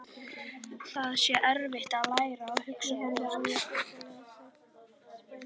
Það sé erfitt að læra að hugsa upp á nýtt.